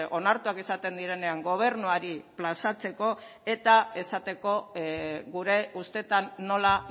onartuak izaten direnean gobernuari plazatzeko eta esateko gure ustetan nola